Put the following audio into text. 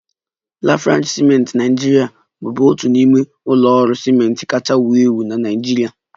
Lafarge ciment Naijiria bụbu otu n'ime ụlọ ọrụ ciment kachasị ewu ewu na Naịjirịa